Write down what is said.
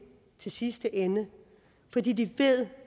til sidste ende fordi de ved